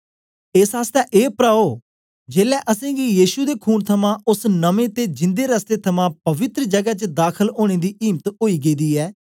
एस आसतै ए प्राओ जेलै असेंगी यीशु दे खून थमां ओस नमें ते जिंदे रस्ते थमां पवित्र जगै च दाखल ओनें दी इम्त ओई गेदी ऐ